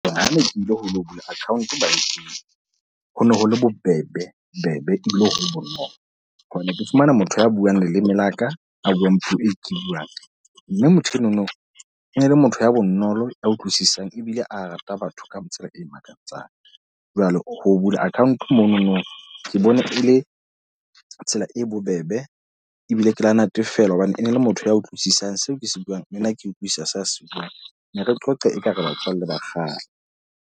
Ha ne ke ile ho lo bula account bankeng, ho no ho le bobebe-bbe ebile ho le bonolo. Hobane ke fumane motho ya buang leleme la ka a buang puo e ke buang. Mme motho enono e ne e le motho ya bonolo a utlwisisang ebile a rata batho ka tsela e makatsang. Jwale ho bula account monono ke bone e le tsela e bobebe. Ebile ke la natefelwa hobane e ne le motho ya utlwisisang seo ke se buang, le nna ke utlwisisa seo a se buang. Ne re qoqa e ka re batswalle ba kgale.